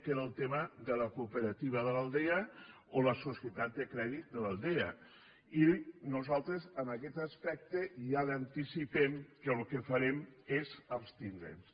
que era el tema de la cooperativa de l’aldea o la societat de crèdit de l’aldea i nosaltres en aquest as·pecte ja li anticipem que el que farem és abstindre’ns